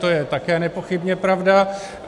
To je také nepochybně pravda.